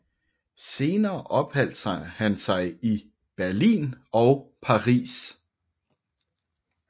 Senere opholdt han sig i Berlin og Paris